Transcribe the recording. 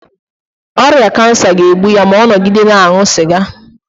ọrịa kansa ga-egbu ya ma ọ nọgide na-aṅụ sịga